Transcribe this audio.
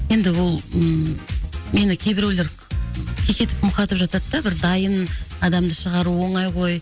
енді ол ммм мені кейбіреулер кекетіп мұқатып жатады да бір дайын адамды шығару оңай ғой